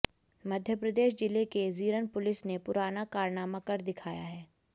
मध्यप्रदेश जिले के जीरन पुलिस ने पुराना कारनामा कर दिखाया है